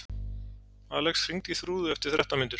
Alex, hringdu í Þrúðu eftir þrettán mínútur.